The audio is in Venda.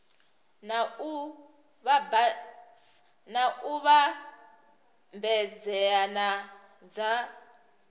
na u vhambedzea na dza